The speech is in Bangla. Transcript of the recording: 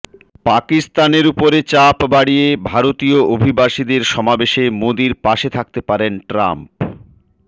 পাকিস্তানের উপরে চাপ বাড়িয়ে ভারতীয় অভিবাসীদের সমাবেশে মোদীর পাশে থাকতে পারেন ট্রাম্প